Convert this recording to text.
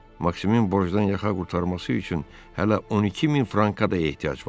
Maksimin borcdan yaxa qurtarması üçün hələ 12 min franka da ehtiyac var.